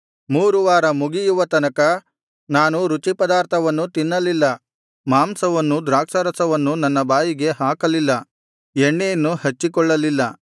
ಮೂರು ವಾರ ಮುಗಿಯುವ ತನಕ ನಾನು ರುಚಿಪದಾರ್ಥವನ್ನು ತಿನ್ನಲಿಲ್ಲ ಮಾಂಸವನ್ನೂ ದ್ರಾಕ್ಷಾರಸವನ್ನೂ ನನ್ನ ಬಾಯಿಗೆ ಹಾಕಲಿಲ್ಲ ಎಣ್ಣೆಯನ್ನು ಹಚ್ಚಿಕೊಳ್ಳಲಿಲ್ಲ